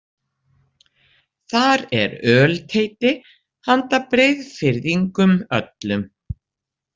Þar er ölteiti handa Breiðfirðingum öllum.